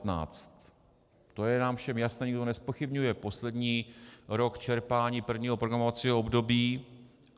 To je nám všem jasné, to nikdo nezpochybňuje, poslední rok čerpání prvního programovacího období.